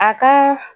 A ka